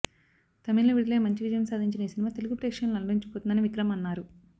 తమిళ్ లో విడుదలై మంచి విజయం సాదించిన ఈ సినిమా తెలుగు ప్రేక్షకులను అలరించబోతుందని విక్రమ్ అన్నారు